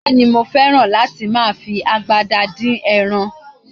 Bẹ́ẹ̀ni, mo fẹ́ràn láti máa fi agbada dín ẹran